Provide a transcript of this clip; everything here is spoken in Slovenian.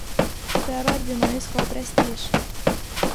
Cerar bi naj iskal prestiž.